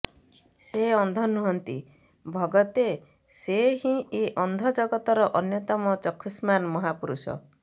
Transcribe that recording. ସେ ଅନ୍ଧ ନୁହନ୍ତି ଭଗତେ ସେ ହିଁ ଏ ଅନ୍ଧ ଜଗତର ଅନ୍ୟତମ ଚକ୍ଷୁଷ୍ମାନ୍ ମହାପୁରୁଷ